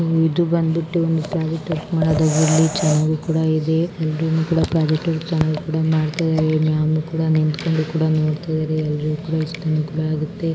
ಇದು ಬಂದ ಬಿಟ್ಟು ಚನ್ನಾಗಿ ಕೂಡ ಇದೆ. ಎಲ್ಲರೂ ಕೂಡ ಪ್ರಾಜೆಕ್ಟ್ ವರ್ಕ್ ಚೆನ್ನಾಗಿ ಮಾಡ್ತಾ ಇದ್ದಾರೆ ಮ್ಯಾಮ್ ಕೂಡ ನಿಂತ್ಕೊಂಡು ನೋಡ್ತಾ ಇದ್ದಾರೆ.